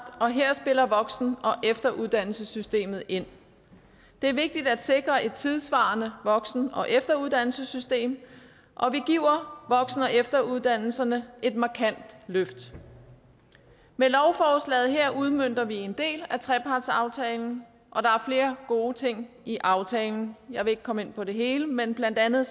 og her spiller voksen og efteruddannelsessystemet ind det er vigtigt at sikre et tidssvarende voksen og efteruddannelsessystem og vi giver voksen og efteruddannelserne et markant løft med lovforslaget her udmønter vi en del af trepartsaftalen og der er flere gode ting i aftalen jeg vil ikke komme ind på det hele men blandt andet